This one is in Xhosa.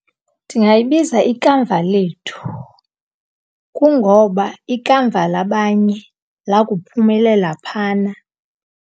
Ndingayibiza iKamva Lethu. Kungoba ikamva labanye lakuphumelela phana.